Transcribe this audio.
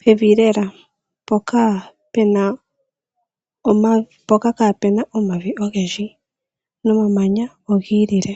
pevi lela mpoka pena, mpoka kaa pena omavi ogendji, nomamanya ogi ilile.